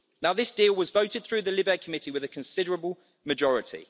This deal was voted through the LIBE Committee with a considerable majority.